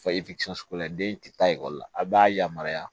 Fɔ den ti taa ekɔli la a b'a yamaruya